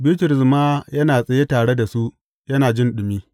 Bitrus ma yana tsaye tare da su, yana jin ɗumi.